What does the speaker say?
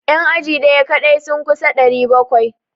Yan aji daya kadai sun kusa 700.